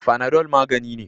Fanadol magani ne.